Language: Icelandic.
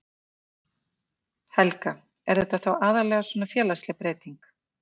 Helga: Er þetta þá aðallega svona félagsleg breyting?